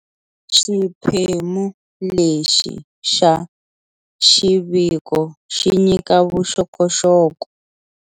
Xiphemu lexi xa xiviko xi nyika vuxokoxoko